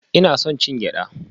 Ina son cin gyada